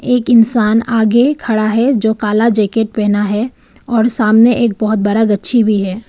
एक इंसान आगे खड़ा है जो काला जैकेट पहना है और सामने एक बहुत बड़ा गच्छी भी है।